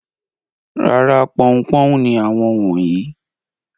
Rárá, pọn-un-pọ́n ni àwọn wọ̀nyí.